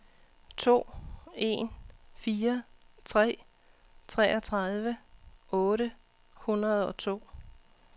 to en fire tre treogtredive otte hundrede og to